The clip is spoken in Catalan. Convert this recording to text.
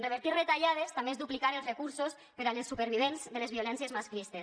revertir retallades també és duplicar els recursos per a les supervivents de les violències masclistes